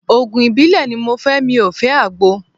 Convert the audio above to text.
Òògùn ìbílẹ̀ ni mo fẹ́ mi ò fẹ́ Àgbo.